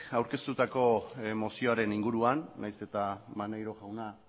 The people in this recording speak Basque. aurkeztutako mozioaren inguruan nahiz eta maneiro jauna